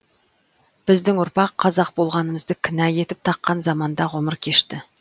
біздің ұрпақ қазақ болғанымызды кінә етіп таққан заманда ғұмыр кешті